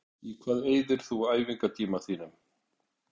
Í hvað eyðir þú æfingartímanum þínum?